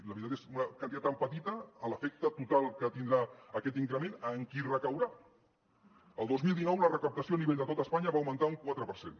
la veritat és una quantitat tan petita l’efecte total que tindrà aquest increment en qui recaurà el dos mil dinou la recaptació a nivell de tot espanya va augmentar un quatre per cent